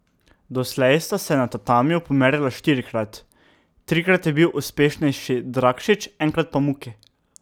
Doslej sta se na tatamiju pomerila štirikrat, trikrat je bil uspešnejši Drakšič, enkrat pa Muki.